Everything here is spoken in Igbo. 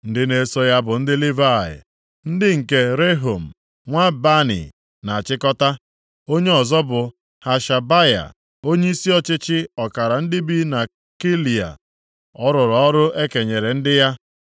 Ndị na-eso ya bụ ndị Livayị, ndị nke Rehum nwa Bani na-achịkọta. Onye ọzọ bụ Hashabaya onyeisi ọchịchị ọkara ndị bi na Keila. Ọ rụrụ ọrụ e kenyere ndị ya.